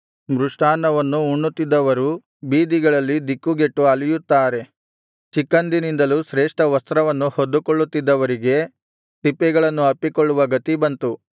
ಮೃಷ್ಟಾನ್ನವನ್ನು ಉಣ್ಣುತ್ತಿದ್ದವರು ಬೀದಿಗಳಲ್ಲಿ ದಿಕ್ಕುಗೆಟ್ಟು ಅಲೆಯುತ್ತಾರೆ ಚಿಕ್ಕಂದಿನಿಂದಲೂ ಶ್ರೇಷ್ಠ ವಸ್ತ್ರವನ್ನು ಹೊದ್ದುಕೊಳ್ಳುತ್ತಿದ್ದವರಿಗೆ ತಿಪ್ಪೆಗಳನ್ನು ಅಪ್ಪಿಕೊಳ್ಳುವ ಗತಿ ಬಂತು